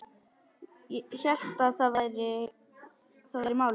Hélt að það væri málið.